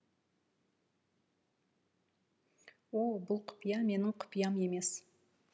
о бұл құпия менің құпиям емес